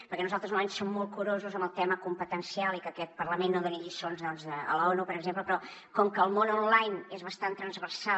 perquè nosaltres normalment som molt curosos amb el tema competencial i que aquest parlament no doni lliçons a l’onu per exemple però com que el món online és bastant transversal